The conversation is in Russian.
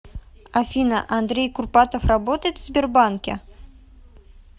афина андрей курпатов работает в сбербанке